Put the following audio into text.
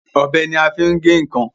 Ọ̀bẹ ní a fín gè nkán